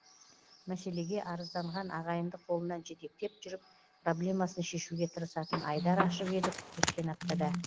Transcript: мәселеге арызданған ағайынды қолынан жетектеп жүріп проблемасын шешуге тырысатын айдар ашып едік өткен аптада